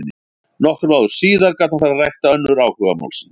Nokkrum árum síðar gat hann farið að rækta önnur áhugamál sín.